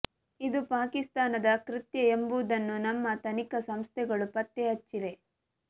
ಇದು ಪಾಕಿಸ್ತಾನದ ಕೃತ್ಯ ಎಂಬುದನ್ನು ನಮ್ಮ ತನಿಖಾ ಸಂಸ್ಥೆಗಳು ಪತ್ತೆ ಹಚ್ಚಿವೆ